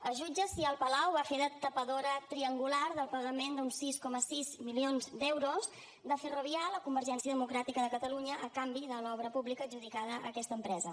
es jutja si el palau va fer de tapadora triangular del pagament d’uns sis coma sis milions d’euros de ferrovial a convergència democràtica de catalunya a canvi de l’obra pública adjudicada a aquesta empresa